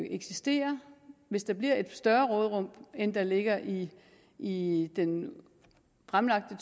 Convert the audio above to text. eksistere hvis der bliver et større råderum end der ligger i i den fremlagte